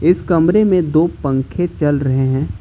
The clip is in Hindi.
इस कमरे मे दो पंखे चल रहे हैं।